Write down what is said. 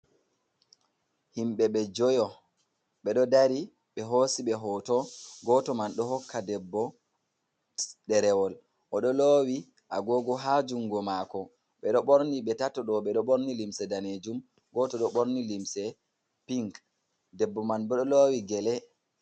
Himɓe ɓe jui ɓeɗo dari ɓe hosi ɓe hoto. Goto man ɗo hokka debbo ɗerewol oɗo lowi agogo ha jungo mako. Ɓeɗo ɓorni ɓe tato ɗo ɓeɗo ɓorni limse danejum goto ɗo ɓorni limse pink debbo man ɓeɗo lowi gele.